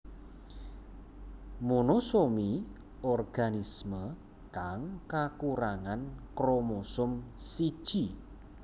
Monosomi organisme kang kakurangan kromosom siji